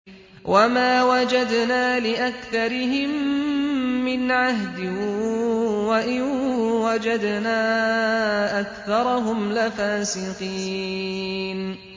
وَمَا وَجَدْنَا لِأَكْثَرِهِم مِّنْ عَهْدٍ ۖ وَإِن وَجَدْنَا أَكْثَرَهُمْ لَفَاسِقِينَ